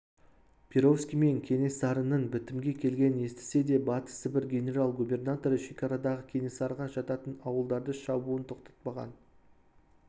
перовский мен кенесарының бітімге келгенін естісе де батыс сібір генерал-губернаторы шекарадағы кенесарыға жататын ауылдарды шабуын тоқтатпаған